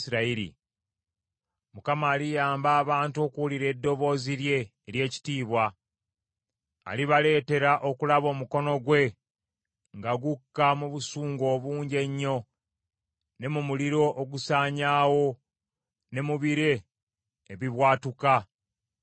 Mukama aliyamba abantu okuwulira eddoboozi lye ery’ekitiibwa, alibaleetera okulaba omukono gwe nga gukka mu busungu obungi ennyo ne mu muliro ogusaanyaawo, ne mu bire ebibwatuka, ne mu muzira.